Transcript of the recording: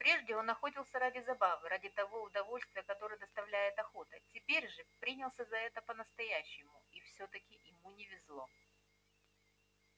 прежде он охотился ради забавы ради того удовольствия которое доставляет охота теперь же принялся за это по настоящему и всё таки ему не везло